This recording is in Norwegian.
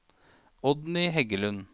Oddny Heggelund